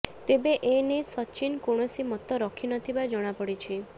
ତେବେ ଏ ନେଇ ସଚ୍ଚିନ କୌଣସି ମତ ରଖି ନଥିବା ଜଣାପଡ଼ିଛି